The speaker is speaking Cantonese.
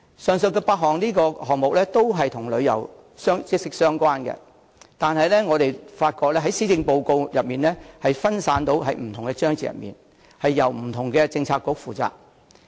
上述8個項目均與旅遊業息息相關，但卻分散在施政報告的不同章節內，由不同政策局負責。